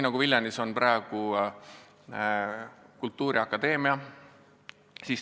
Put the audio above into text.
Viljandis ongi praegu kultuuriakadeemia.